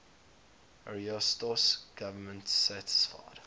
ariosto's government satisfied